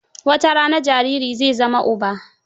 Watarana jariri zai zama uba.